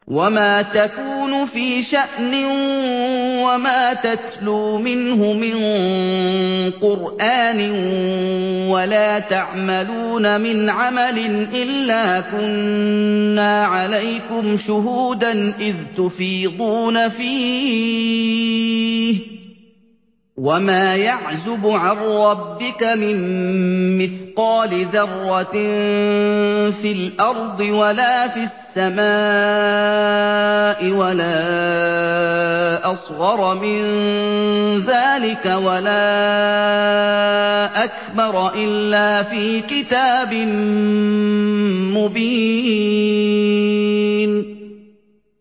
وَمَا تَكُونُ فِي شَأْنٍ وَمَا تَتْلُو مِنْهُ مِن قُرْآنٍ وَلَا تَعْمَلُونَ مِنْ عَمَلٍ إِلَّا كُنَّا عَلَيْكُمْ شُهُودًا إِذْ تُفِيضُونَ فِيهِ ۚ وَمَا يَعْزُبُ عَن رَّبِّكَ مِن مِّثْقَالِ ذَرَّةٍ فِي الْأَرْضِ وَلَا فِي السَّمَاءِ وَلَا أَصْغَرَ مِن ذَٰلِكَ وَلَا أَكْبَرَ إِلَّا فِي كِتَابٍ مُّبِينٍ